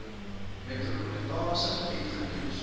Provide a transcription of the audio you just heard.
metropolitaanse gebied getoets